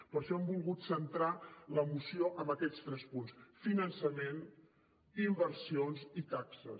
per això hem volgut centrar la moció en aquests tres punts finançament inversions i taxes